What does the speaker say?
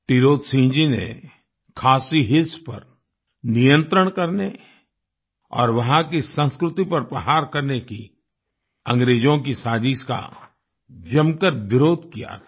टिरोत सिंह जी ने Khasi Hills Khasi Hills पर नियंत्रण करने और वहाँ की संस्कृति पर प्रहार करने की अंग्रेजों की साजिश का जमकर विरोध किया था